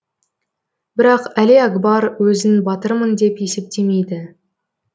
бірақ әлиакбар өзін батырмын деп есептемейді